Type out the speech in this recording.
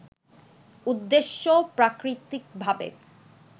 উদ্দেশ্যে প্রাকৃতিকভাবে